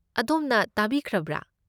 ꯑꯗꯣꯝꯅ ꯇꯥꯕꯤꯈ꯭ꯔꯕ?